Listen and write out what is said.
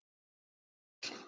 Bara stóll!